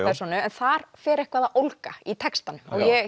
persónu en þar fer eitthvað að ólga í textanum